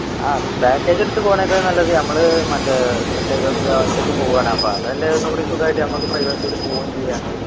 ആഹ് package എടുത്തു പോണേക്കാൾ നല്ലത് നമ്മള് മറ്റേ ഒറ്റക്ക് ഏർ ഒറ്റക്ക് പോവണ് അപ്പൊ അതല്ലേ ഒന്നും കൂടി സുഖായിട്ട് നമ്മക്ക് privacy ൽ പോവും ചെയ്യാ